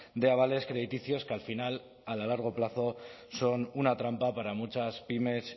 de avales crediticios que al final a largo plazo son una trampa para muchas pymes